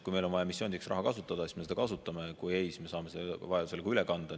Kui meil on vaja missioonideks raha kasutada, siis me seda kasutame, kui ei, siis me saame vajadusel selle ka üle kanda.